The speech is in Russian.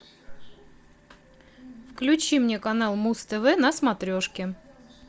включи мне канал муз тв на смотрешке